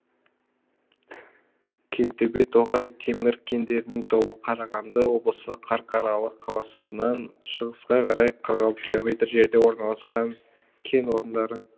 кентөбе тоғай темір кендерінің тобы қарағанды облысы қарқаралы қаласынан шығысқа қарай қырық алты километр жерде орналасқан кен орындары